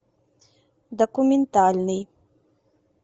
документальный